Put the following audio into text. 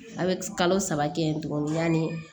A bɛ kalo saba kɛ tuguni yani